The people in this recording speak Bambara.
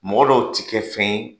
Mɔgɔ dɔw ti kɛ fɛn ye